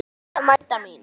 Stúlkan mæta mín.